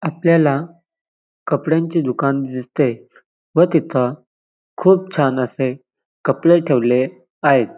आपल्याला कपड्यांचे दुकान दिसते व तिथ खूप छान असे कपडे ठेवले आहेत.